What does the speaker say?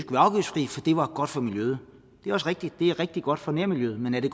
var godt for miljøet det er også rigtigt det er rigtig godt for nærmiljøet men er det